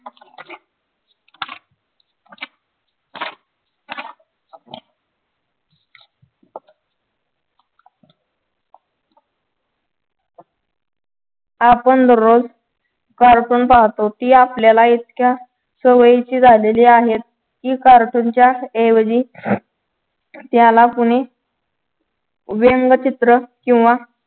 आपण दररोज cartoon पाहतो ती आपल्याला इतक्या सवयीची झालेली आहेत cartoon च्याच ऐवजी त्याला तुम्ही व्यंगचित्र किंवा